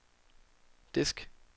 disk